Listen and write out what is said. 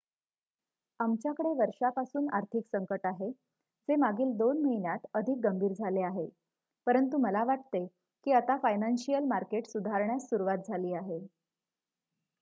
आमच्याकडे वर्षापासून आर्थिक संकट आहे जे मागील 2 महिन्यांत अधिक गंभीर झाले आहे परंतु मला वाटते की आता फायनान्शिअल मार्केट सुधारण्यास सुरुवात झाली आहे